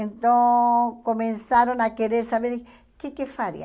Então, começaram a querer saber o que que faria.